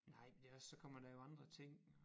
Nej men det er også så kommer der jo andre ting